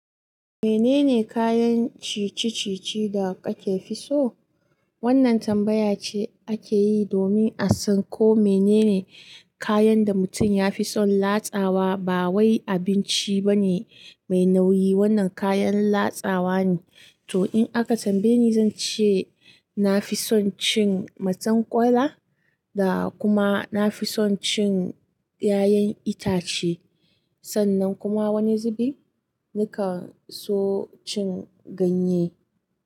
Menene kayan ci-ci-ci-ci da kake so? Wannan tambaya ce ake yi domin a san ko menene kayan da mutum ya fi son latsawa. Ba wai abinci ba ne mai nauyi, wannan kayan latsawa ne. To, in aka tambaye ni, zan ce na fi son cin marzaƙwaila da kuma na fi son cin ƴaƴan itace. Sanan kuma wani zubi ni kan so cin ganye.